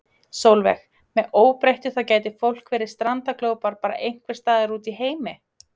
Sólveig: Með óbreyttu þá gæti fólk verið strandaglópar bara einhvern staðar úti í heimi?